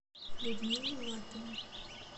людмила лапина